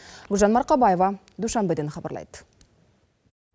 гүлжан марқабаева душанбеден хабарлайды